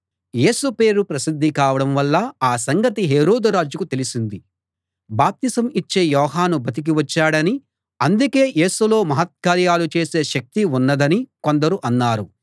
యేసు పేరు ప్రసిద్ధి కావడం వల్ల ఆ సంగతి హేరోదు రాజుకు తెలిసింది బాప్తిసం ఇచ్చే యోహాను బతికి వచ్చాడని అందుకే యేసులో మహత్కార్యాలు చేసే శక్తి ఉన్నదని కొందరు అన్నారు